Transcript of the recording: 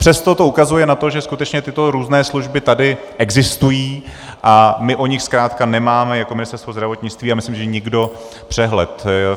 Přesto to ukazuje na to, že skutečně tyto různé služby tady existují, a my o nich zkrátka nemáme jako Ministerstvo zdravotnictví, a myslím že nikdo, přehled.